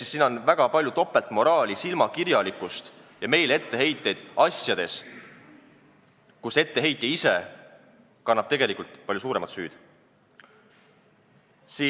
Ehk siin on väga palju topeltmoraali, silmakirjalikkust ja meile tehakse etteheiteid asjades, kus etteheitja ise kannab tegelikult palju suuremat süüd.